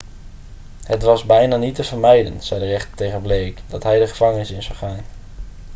het was bijna niet te vermijden' zei de rechter tegen blake dat hij de gevangenis in zou gaan